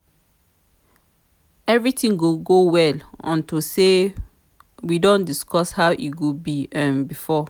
everything go well unto say we don discuss how e go be um before